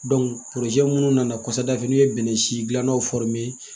minnu nana kɔfɛ n'u ye bɛnnɛ si gilannaw